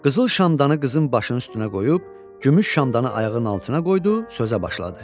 Qızıl şamdanı qızın başının üstünə qoyub, gümüş şamdanı ayağının altına qoydu, sözə başladı.